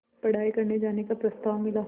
पढ़ाई करने जाने का प्रस्ताव मिला